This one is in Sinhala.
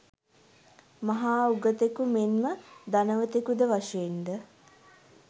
මහා උගතෙකු, මෙන්ම ධනවතෙකුද වශයෙන් ද